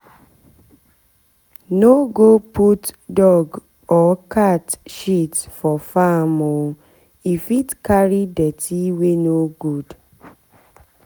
no go put dog or cat shit for farm o e fit carry dirty wey no good.